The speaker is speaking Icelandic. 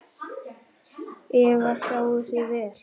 Eva: Sjáið þið vel?